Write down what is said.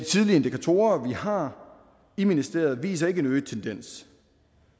tidlige indikatorer vi har i ministeriet viser ikke en øget tendens